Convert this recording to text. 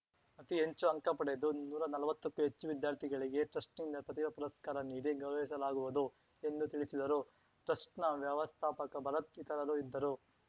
ಅತೀ ಹೆಚ್ಚು ಅಂಕ ಪಡೆದು ನೂರಾ ನಲ್ವತ್ತಕ್ಕೂ ಹೆಚ್ಚು ವಿದ್ಯಾರ್ಥಿಗಳಿಗೆ ಟ್ರಸ್ಟ್‌ನಿಂದ ಪ್ರತಿಭಾ ಪುರಸ್ಕಾರ ನೀಡಿ ಗೌರವಿಸಲಾಗುವುದು ಎಂದು ತಿಳಿಸಿದರು ಟ್ರಸ್ಟ್‌ನ ವ್ಯವಸ್ಥಾಪಕ ಭರತ್‌ ಇತರರು ಇದ್ದರು